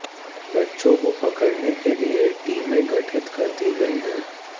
बच्चों को पकड़ने के लिए टीमें गठित कर दी गई हैं